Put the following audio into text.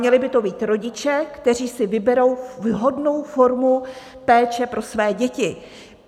Měli by to být rodiče, kteří si vyberou vhodnou formu péče pro své děti.